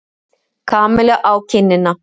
Kamillu á kinnina.